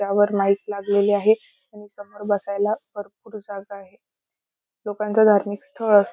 त्यावर लाइट लागलेली आहे आणि समोर बसायला भरपूर जागा आहे लोकांच धार्मिक स्थळ अस --